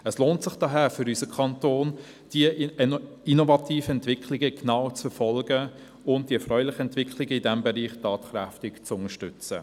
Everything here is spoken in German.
Daher lohnt es sich für unseren Kanton, diese innovativen Entwicklungen genau zu verfolgen und die erfreulichen Entwicklungen in diesem Bereich tatkräftig zu unterstützen.